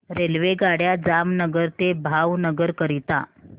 रेल्वेगाड्या जामनगर ते भावनगर करीता